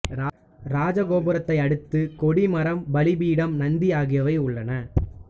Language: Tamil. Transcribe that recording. ராஜகோபுரத்தை அடுத்து கொடி மரம் பலிபீடம் நந்தி ஆகியவை உள்ளன